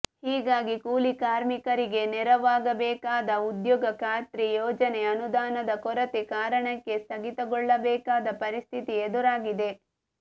ಹೀಗಾಗಿ ಕೂಲಿ ಕಾರ್ಮಿಕರಿಗೆ ನೆರವಾಗಬೇಕಾದ ಉದ್ಯೋಗ ಖಾತ್ರಿ ಯೋಜನೆ ಅನುದಾನದ ಕೊರತೆ ಕಾರಣಕ್ಕೆ ಸ್ಥಗಿತಗೊಳ್ಳಬೇಕಾದ ಪರಿಸ್ಥಿತಿ ಎದುರಾಗಿದೆ